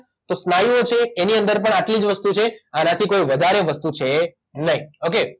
તો સ્નાયુઓ છે એની અંદર પણ આટલી જ વસ્તુ છે આનાથી કોઇ વધારે વસ્તુ છે નહિ ઓકે